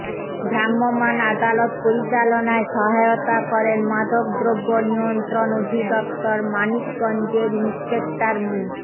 ভ্রাম্যমাণ আদালত পরিচালনায় সহায়তা করেন মাদকদ্রব্য নিয়ন্ত্রণ অধিদপ্তর মানিকগঞ্জের ইনস্পেক্টর মো